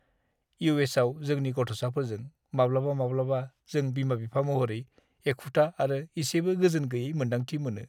इउ.एस.आव जोंनि गथ'साफोरजों, माब्लाबा-माब्लाबा जों बिमा-बिफा महरै एखुथा आरो इसेबो गोजोनगैयै मोन्दांथि मोनो!